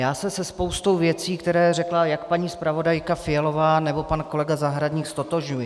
Já se se spoustou věcí, které řekla jak paní zpravodajka Fialová, nebo pan kolega Zahradník, ztotožňuji.